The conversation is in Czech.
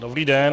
Dobrý den.